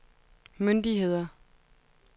myndigheder